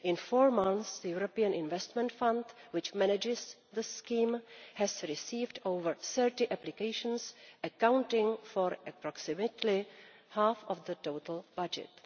In four months, the European Investment Fund, which manages the scheme, has received over 30 applications, accounting for approximately half of the total budget.